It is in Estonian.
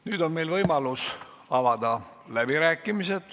Nüüd on meil võimalus avada läbirääkimised.